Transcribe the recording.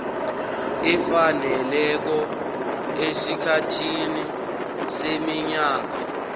efaneleko esikhathini seminyaka